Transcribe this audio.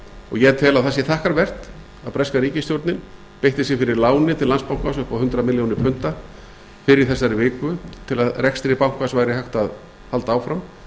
ég tel að það sé þakkarvert að breska ríkisstjórnin beitti sér fyrir láni til landsbankans upp á hundrað milljónir punda fyrr í þessari viku til að rekstri bankans væri hægt að halda áfram